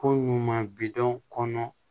Ko ɲuman bidɔn kɔnɔ